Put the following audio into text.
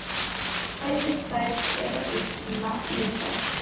Vatnið sem fæðir þær er að uppruna lindavatn.